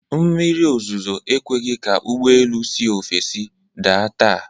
Mmiri ozuzo ekweghi ka ụgbọelu si ofesii da taa.